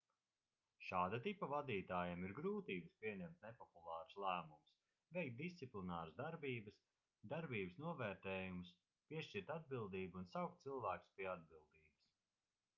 šāda tipa vadītājiem ir grūtības pieņemt nepopulārus lēmumus veikt disciplināras darbības darbības novērtējumus piešķirt atbildību un saukt cilvēkus pie atbildības